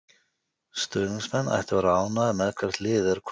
Stuðningsmenn ættu að vera ánægðir með hvert liðið er komið.